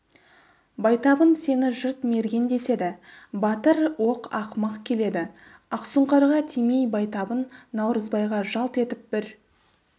байтабын сені жұрт мерген деседі батыр оқ ақымақ келеді ақсұңқарға тимей байтабын наурызбайға жалт етіп бір